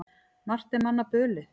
Margt er manna bölið.